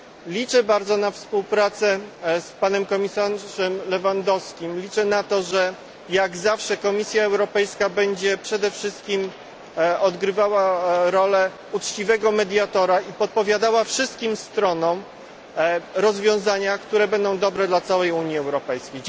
Liczę bardzo na współpracę z panem komisarzem Lewandowskim, liczę na to, że jak zawsze Komisja Europejska będzie przede wszystkim odgrywała rolę uczciwego mediatora i podpowiadała wszystkim stronom rozwiązania, które będą dobre dla całej Unii Europejskiej.